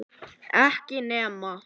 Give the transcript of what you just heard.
Ekki nema?